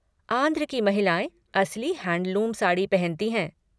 आंध्र की महिलाएँ असली हैंडलूम साड़ी पहनती हैं।